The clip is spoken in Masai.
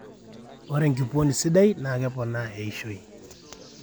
ore enkupuoni sidai naa keponaa eishoi